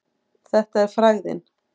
Þetta er frægðin.